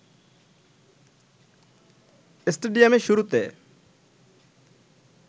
স্টেডিয়ামে শুরুতে